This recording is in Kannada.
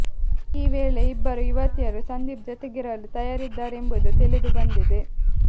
ಈ ವೇಳೆ ಇಬ್ಬರೂ ಯುವತಿಯರು ಸಂದೀಪ್ ಜೊತೆಗಿರಲು ತಯಾರಿದ್ದಾರೆಂಬುವುದು ತಿಳಿದು ಬಂದಿದೆ